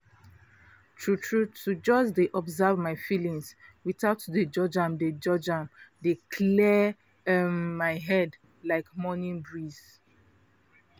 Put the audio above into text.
true true to just dey observe my feelings without to dey judge am dey judge am dey clear um my head like morning breeze.